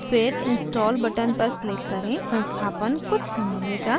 फिर install button पर click करें संस्थापन कुछ समय लेगा